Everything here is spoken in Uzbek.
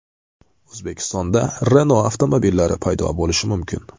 O‘zbekistonda Renault avtomobillari paydo bo‘lishi mumkin.